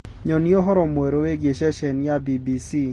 nyonĩa ũhoro mwerũ wiĩgie sesheni ya B.B.C